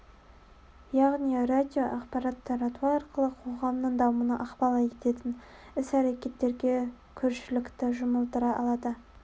яғни радио ақпарат тарату арқылы қоғамның дамуына ықпал ететін іс-әрекеттерге көршілікті жұмылдыра алады